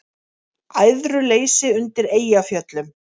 Æðruleysi undir Eyjafjöllum